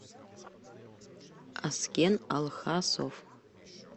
аскен алхасов